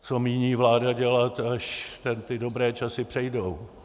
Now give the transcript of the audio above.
Co míní vláda dělat, až ty dobré časy přejdou?